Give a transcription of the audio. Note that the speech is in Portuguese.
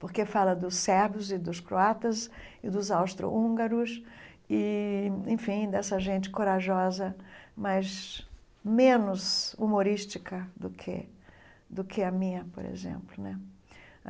porque fala dos sérvios e dos croatas e dos austro-húngaros e, enfim, dessa gente corajosa, mas menos humorística do que do que a minha, por exemplo né.